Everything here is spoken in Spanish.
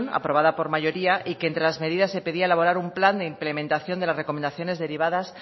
aprobada por mayoría y que entre las medidas se pedía elaborar un plan de implementación de las recomendaciones derivadas